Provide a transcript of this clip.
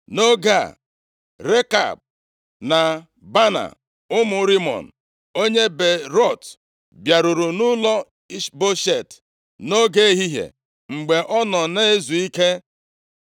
Nʼoge a, Rekab na Baana ụmụ Rimọn, onye Beerọt bịaruru nʼụlọ Ishboshet nʼoge ehihie, mgbe ọ nọ na-ezu ike.